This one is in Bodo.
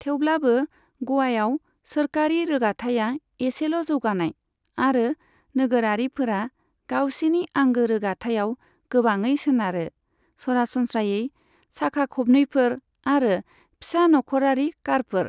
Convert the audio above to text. थेवब्लाबो, ग'वाआव सोरखारि रोगाथाइआ एसेल' जौगानाय, आरो नोगोरारिफोरा गावसिनि आंगो रोगाथाइआव गोबाङै सोनारो, सरासनस्रायै साखा खबनैफोर आरो फिसा नखरारि कारफोर।